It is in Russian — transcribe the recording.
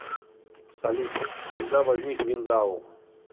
салют когда возник виндау